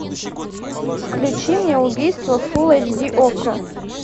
включи мне убийство фулл эйч ди окко